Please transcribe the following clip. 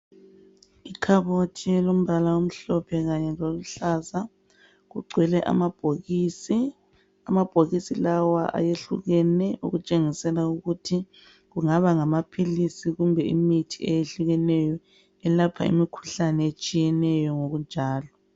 Ikhabothi elombala omhlophe kanye loluhlaza kugcwele amabhokisi amabhokisi lawa ayehlukene okutshengisela ukuthi kungaba ngamaphilisi kumbe imithi eyehlukeneyo elapha imikhuhlane etshiyeneyo ngokunjalo.